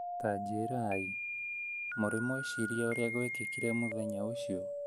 Tanjirai, mũrĩ mweciria ũrĩa gwekikire mũthenya ũcio